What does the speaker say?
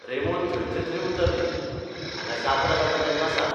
Ramon थंयचे थंय उतर दिलेंः हांगां जात्रा जाता तेन्ना सांग.